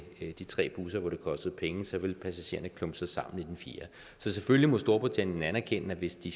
de tre busser hvor det kostede penge så ville passagererne klumpe sig sammen i den fjerde så selvfølgelig må storbritannien anerkende at hvis de